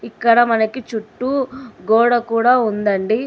ఇక్కడ మనకి చుట్టూ గోడ కూడా ఉందండి.